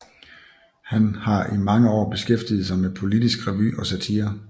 Han har i mange år beskæftiget sig med politisk revy og satire